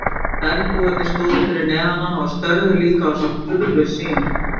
Bergbúarnir stóðu fyrir neðan hana og störðu líka á þessa furðusýn.